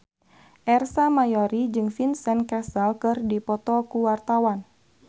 Ersa Mayori jeung Vincent Cassel keur dipoto ku wartawan